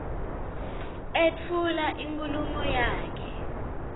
etfula inkhulumo yakhe